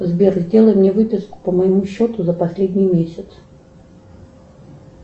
сбер сделай мне выписку по моему счету за последний месяц